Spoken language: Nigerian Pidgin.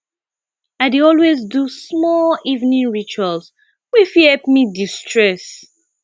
i dey always do small evening rituals wey fit help me destress